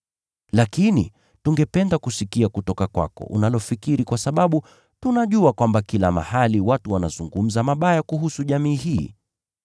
Lakini tungependa kusikia kutoka kwako unalofikiri kwa sababu tunajua kwamba kila mahali watu wanazungumza mabaya kuhusu jamii hii.”